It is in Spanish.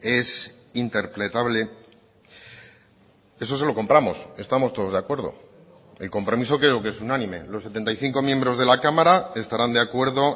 es interpretable eso se lo compramos estamos todos de acuerdo el compromiso creo que es unánime los setenta y cinco miembros de la cámara estarán de acuerdo